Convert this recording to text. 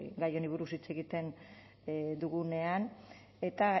gai honi buruz hitz egiten dugunean eta